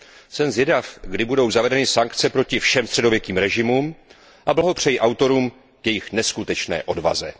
Jsem zvědav, kdy budou zavedeny sankce proti všem středověkým režimům a blahopřeji autorům k jejich neskutečné odvaze.